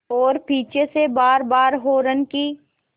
और पीछे से बारबार हार्न की